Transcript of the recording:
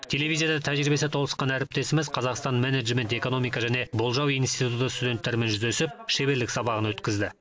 телевизияда тәжірибесі толысқан әріптесіміз қазақстан менеджмент экономика және болжау институтының студенттерімен жүздесіп шеберлік сабағын өткізді